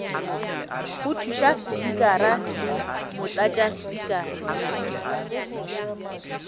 go thuša spikara le motlatšaspikara